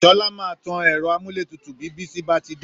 Sọla maa tan ẹ̀rọ amúlétutu bí Bísí bá ti dé